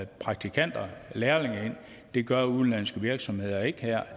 praktikanter og lærlinge ind det gør udenlandske virksomheder ikke